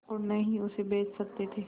और न ही उसे बेच सकते थे